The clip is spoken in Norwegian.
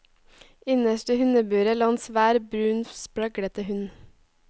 Innerst i hundeburet lå en svær, brun, spraglete hund.